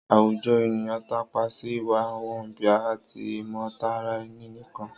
Àwùjọ ènìyàn tápa sí ìwà wọ̀nbìà àti ìmọ̀tara-ẹni-nìkan